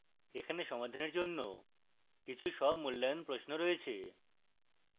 এখানে সমাধানের জন্য কিছু স্বমূল্যায়ন প্রশ্ন রয়েছে